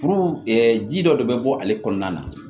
Furu ji dɔ de bɛ bɔ ale kɔnɔna na